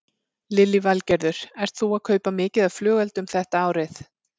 Lillý Valgerður: Ert þú að kaupa mikið af flugeldum þetta árið?